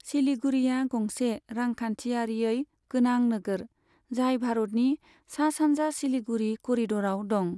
सिलीगुड़ीया गंसे रांखान्थियारियै गोनां नोगोर, जाय भारतनि सा सानजा सिलीगुड़ी करिदराव दं।